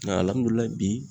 Nga alihamudulilayi bi